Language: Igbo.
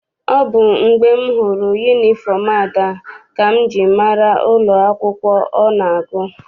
Ọ bụ mgbe m hụrụ yunifọm Ada ka m ji mara n'ụlọ akwụkwọ ọ na-agụ.